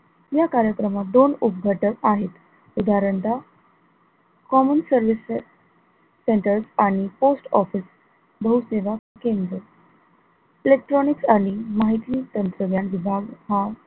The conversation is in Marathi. या कार्यक्रमात दोन उपघटक आहेत उदाहरणतः common service centers आणि post office बहुसेवा केंद्र electronics आणि माहिती तंत्रज्ञान विभाग